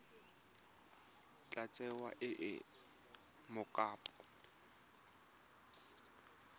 tla tsewa e le mokopa